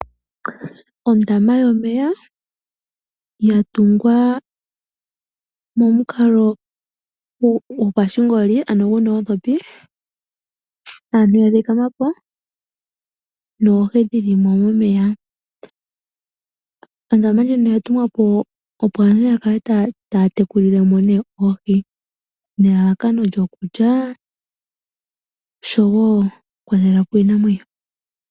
Ondama yomeya ya tungwa momukalo gopashingoli ano guna oondhopi, aantu ya thikama po noohi dhili momeya. Ondama ndjino oya tungwa po opo aantu yakale taa tekulile mo oohi nelalakano lyokulya oshowo okukwatela po iinamwenyo.